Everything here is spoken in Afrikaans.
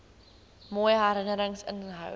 mooi herinnerings inhou